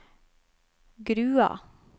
Grua